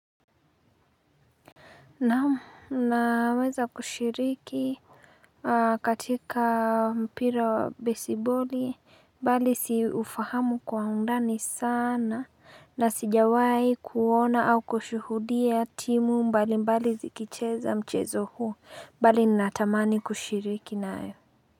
Naweza kushiriki katika mpira wa besiboli bali siufahamu kwa undani sana na sijawai kuona au kushuhudia timu mbali mbali zikicheza mchezo huu mbali natamani kushiriki nae.